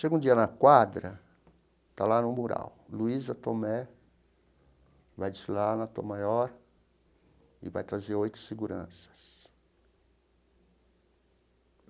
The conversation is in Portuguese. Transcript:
Chego um dia na quadra, está lá no mural, Luiza Tomé vai desfilar na Tom Maior e vai trazer oito seguranças.